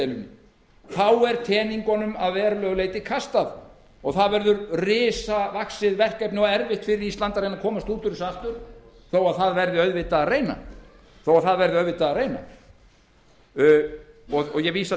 deilunni þá er teningunum að verulegu leyti kastað og það verður risavaxið verkefni og erfitt fyrir ísland að reyna að komast út úr þessu aftur þó að auðvitað verði að reyna það ég vísa